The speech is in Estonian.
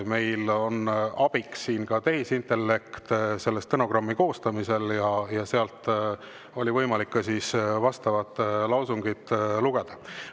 Meil on stenogrammi koostamisel abiks tehisintellekt ja stenogrammist oli võimalik ka vastavat lausungit lugeda.